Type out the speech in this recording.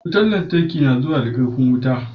Wutan lantarki ya zuwa da karfin wuta.